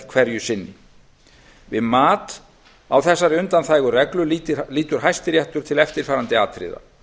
hverju sinni við mat á þessari undanþægu reglu lítur hæstiréttur til eftirfarandi atriða